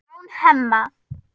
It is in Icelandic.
án Hemma.